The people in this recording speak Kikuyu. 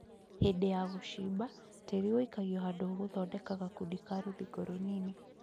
Hĩndĩ ya gũcimba tĩĩri ũikagio handũ ũgũthondeka gakundi ka rũthingo rũnini